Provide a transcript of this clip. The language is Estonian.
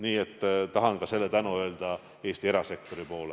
Nii et tahan ka selle tänu öelda Eesti erasektori poole.